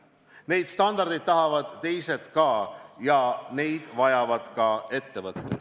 Neid standardeid tahavad ka teised ja neid vajavad ka ettevõtted.